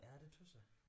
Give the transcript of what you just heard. Ja det synes jeg